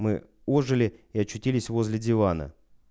мы ожили и очутились возле дивана